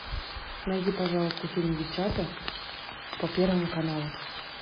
найди пожалуйста фильм девчата по первому каналу